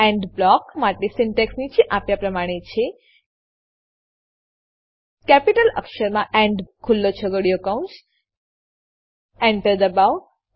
and block માટે syntax નીચે આપ્યા પ્રમાણે છે કેપિટલ અક્ષરમાં એન્ડ ખુલ્લો છગડીયો કૌંસ Enter દબાવો